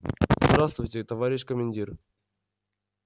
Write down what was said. здравствуйте товарищ командир